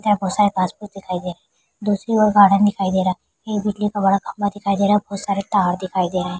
शायद passbook दिखाई दे दूसरी ओर गार्डेन दिखाई दे रहा है एक बिजली का बड़ा खम्बा दिखाई दे रहा है और बहुत सारे पहाड़ दिखाई दे रहे हैं।